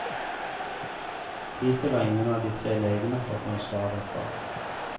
Hittil har ingen av de tre legene fått noe svar derfra.